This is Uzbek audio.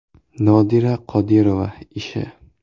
Nodira Qodirova ishi.